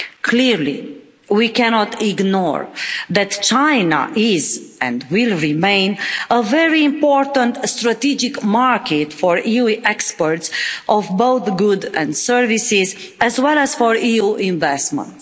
Clearly, we cannot ignore that China is and will remain a very important strategic market for EU exports of both goods and services, as well as for EU investment.